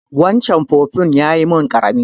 Waccan fufun ya yi min ƙarami.